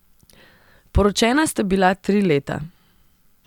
Poročena sta bila tri leta.